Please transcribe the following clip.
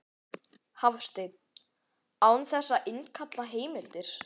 Hafsteinn: Án þess að innkalla heimildir?